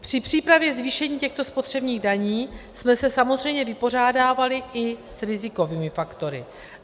Při přípravě zvýšení těchto spotřebních daní jsme se samozřejmě vypořádávali i s rizikovými faktory.